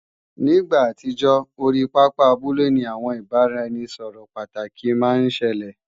Ní ìgbà àtijọ́, orí pápá abúlé ni àwọn ìbáraẹnisọ̀rọ̀ pàtàkì máa ń ṣẹlẹ̀